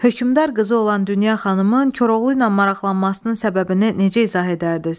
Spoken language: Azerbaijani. Hökmdar qızı olan Dünya xanımın Koroğlu ilə maraqlanmasının səbəbini necə izah edərdiz?